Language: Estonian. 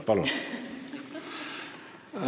Palun!